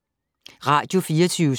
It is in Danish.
Radio24syv